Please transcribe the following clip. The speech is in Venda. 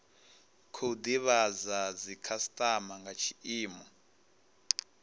khou divhadza dzikhasitama nga tshiimo